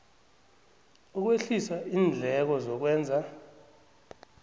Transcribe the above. ukwehlisa iindleko zokwenza